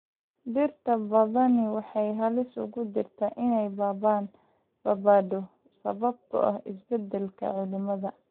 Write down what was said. Dhirta badani waxay halis ugu jirtaa inay baaba�do sababtoo ah isbeddelka cimilada.